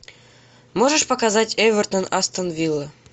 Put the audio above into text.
можешь показать эвертон астон вилла